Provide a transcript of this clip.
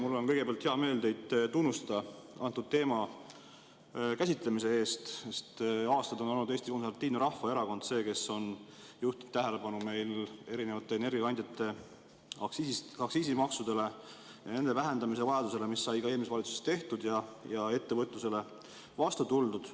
Mul on kõigepealt hea meel teid tunnustada antud teema käsitlemise eest, sest aastaid on Eesti Konservatiivne Rahvaerakond olnud see, kes on juhtinud tähelepanu erinevate energiakandjate aktsiisimaksudele ja nende vähendamise vajadusele, mida sai ka eelmises valitsuses tehtud ja ettevõtlusele vastu tuldud.